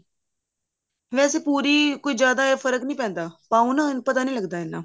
ਵੈਸੇ ਪੂਰੀ ਕੋਈ ਜਿਆਦਾ ਫਰਕ ਨੀ ਪੈਂਦਾ ਪਾਉ ਨਾ ਪਤਾ ਨੀ ਲੱਗਦਾ ਇੰਨਾ